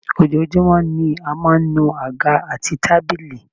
Ojoojúmọ́ ni a máa ń nu àga àti tábìlì